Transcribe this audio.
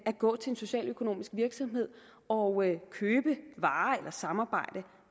at gå til en socialøkonomisk virksomhed og købe varer eller samarbejde